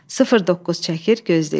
09 çəkir, gözləyir.